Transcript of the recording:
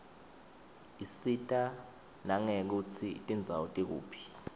isita nangekutsi tindzawo tikuphi